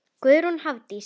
Guðrún Hafdís.